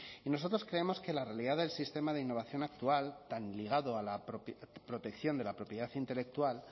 y nosotros creemos que la realidad del sistema de innovación actual tan ligado a la protección de la propiedad intelectual